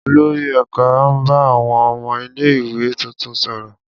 Olori ẹka n ba awọn ọmọ ile-iwe tuntun sọrọ.